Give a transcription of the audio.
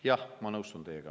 Jah, ma nõustun teiega.